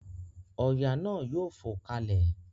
ọya na yóò fo kalè.